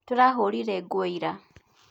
Tũrahũrire nguo ira